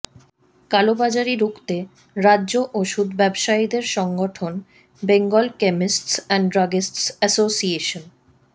কালোবাজারি রুখতে রাজ্যে ওষুধ ব্যবসায়ীদের সংগঠন Bengal Chemists and Druggists association